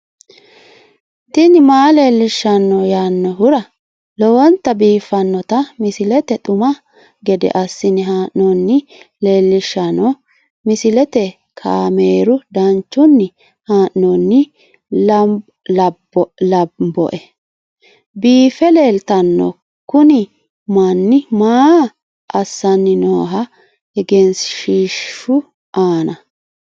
tini maa leelishshanno yaannohura lowonta biiffanota misile xuma gede assine haa'noonnita leellishshanno misileeti kaameru danchunni haa'noonni lamboe biiffe leeeltanno kuni mannu maa assanni nooho egenshshiishu aana